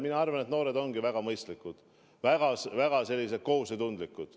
Mina arvan, et noored ongi väga mõistlikud, väga kohusetundlikud.